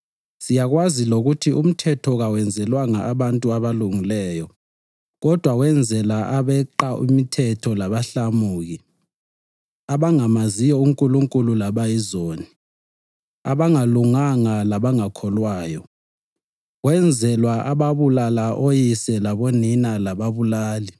Siyakwazi lokuthi umthetho kawenzelwanga abantu abalungileyo kodwa wenzelwa abeqa imithetho labahlamuki, abangamaziyo uNkulunkulu labayizoni, abangalunganga labangakholwayo; wenzelwa ababulala oyise labonina, lababulali,